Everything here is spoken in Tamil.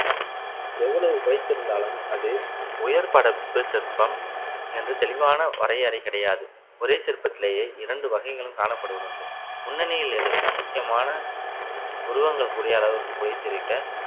எவ்வளவு குறைத்திருந்தாலும் அது உயர் புடைப்பு சிற்பம் என்று தெளிவான வரையறை கிடையாது ஒரே சிற்பத்திலேயே இரண்டு வகைகளும் காணப்படுவது உண்டு முன்னணியில் இருக்கும் முக்கியமான உருவங்கள் கூடிய அளவுக்கு புடைத்திருக்க